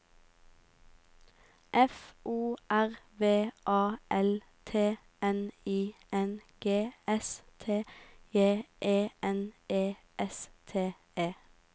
F O R V A L T N I N G S T J E N E S T E